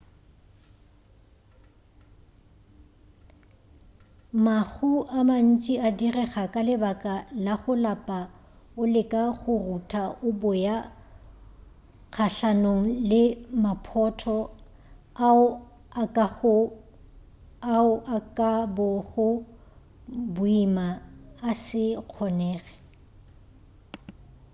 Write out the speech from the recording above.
mahu a mantši a direga ka lebaka la go lapa o leka go rutha o boya kgahlanong le maphotho ao a ka bago boima a se kgonege